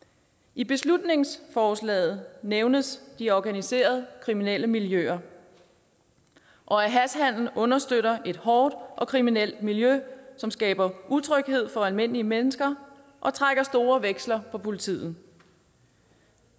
i beslutningsforslaget nævnes de organiserede kriminelle miljøer og at hashhandel understøtter et hårdt og kriminelt miljø som skaber utryghed for almindelige mennesker og trækker store veksler på politiet